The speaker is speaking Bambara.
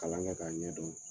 Kalan bɛ taa ɲɛ donnin.